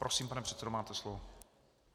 Prosím, pane předsedo, máte slovo.